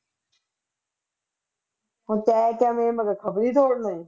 ਹੁਣ ਤੈਂ ਕਿਆ ਮੇਰੇ ਮਗਰ ਖ਼ਬਰੀ ਛੋੜਨੇ।